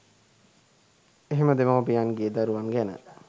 එහෙම දෙමව්පියන්ගේ දරුවන් ගැන